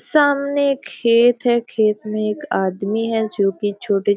सामने खेत है खेत में एक आदमी है जो की छोटे --